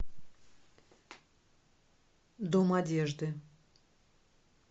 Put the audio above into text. дом одежды